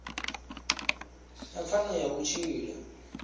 na pfanelo ya u tshila